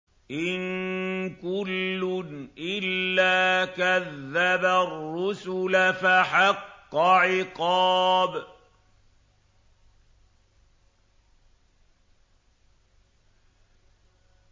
إِن كُلٌّ إِلَّا كَذَّبَ الرُّسُلَ فَحَقَّ عِقَابِ